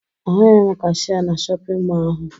Ahụghị m kashịee na shọpịn mọọ ahụ